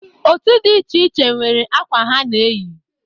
Otu di iche iche nwere akwa ha na-eyi.